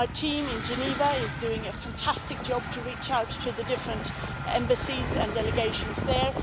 Our team in Geneva is doing a fantastic job to reach out to the different embassies and delegations there.